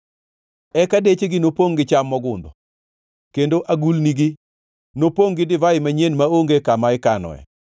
eka dechegi nopongʼ gi cham mogundho kendo agulnigi nopongʼ gi divai manyien maonge kama ikanoe.